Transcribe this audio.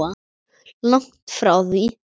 Langt frá því.